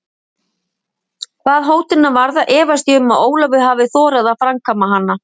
Hvað hótunina varðar efast ég um að Ólafur hefði þorað að framkvæma hana.